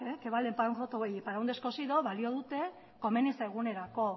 que vale para un roto y para un descosido balio dute komeni zaigunerako